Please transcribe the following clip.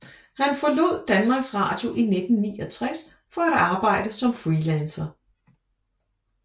Han forlod Danmarks Radio i 1969 for at arbejde som freelancer